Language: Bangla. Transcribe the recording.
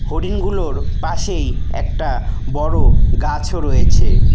হরিণগুলোর পাশেই একটা বড় গাছও রয়েছে।